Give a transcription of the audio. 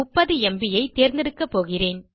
30ம்ப் தேர்ந்தெடுக்கப்போகிறேன்